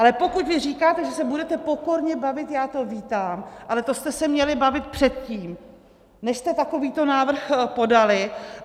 Ale pokud vy říkáte, že se budete pokorně bavit, já to vítám, ale to jste se měli bavit předtím, než jste takovýto návrh podali.